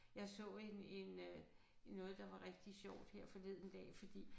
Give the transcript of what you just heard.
Jeg så en en øh noget der var rigtig sjovt her forleden dag fordi